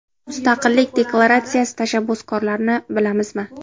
Mu s taqillik deklaratsiyasi tashabbuskorlari ni bilamizmi ?